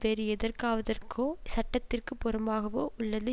வேறு எதற்காவதற்தோ சட்டத்திற்கு புறம்பாகவோ உள்ளது